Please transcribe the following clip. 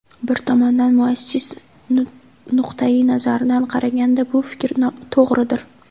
Bir tomondan muassis nuqtayi nazaridan qaraganda bu fikr to‘g‘ridir.